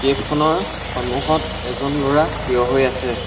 কেফখনৰ সন্মুখত এজন ল'ৰা থিয় হৈ আছে।